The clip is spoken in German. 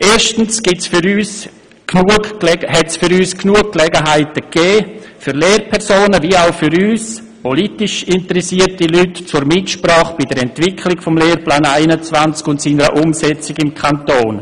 Erstens gab es aus unserer Sicht für Lehrpersonen wie auch für uns politisch interessierte Leute genügend Gelegenheiten zur Mitsprache bei der Entwicklung des Lehrplans 21 und seiner Umsetzung im Kanton.